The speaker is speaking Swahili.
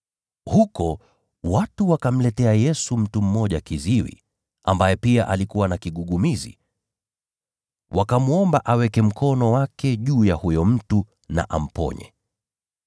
Huko, watu wakamletea Yesu mtu mmoja kiziwi, ambaye pia alikuwa na kigugumizi, wakamwomba aweke mkono wake juu ya huyo mtu na amponye.